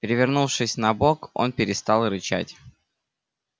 перевернувшись на бок он перестал рычать